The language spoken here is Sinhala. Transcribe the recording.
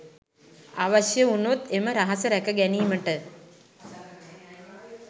අවශ්‍ය වුණොත් එම රහස රැක ගැනීමට